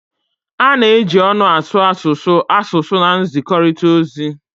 A na-eji ọnụ asụ asụsụ asụsụ na nzikọrịta ozi